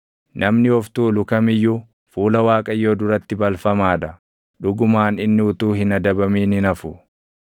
Namni of tuulu kam iyyuu fuula Waaqayyoo duratti balfamaa dha; dhugumaan inni utuu hin adabamin hin hafu.